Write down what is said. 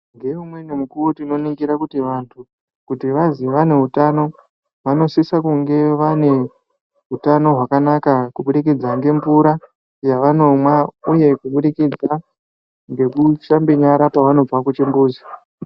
Nge umweni mukuwo tino ningire kuti vantu kuti vazi vane hutano vano sisa kunge vane hutano hwakanaka ku budikidza nge mvura yava nomwa uye kubudikidza ngeku shambe nyara pa vanobva ku chimbuzi.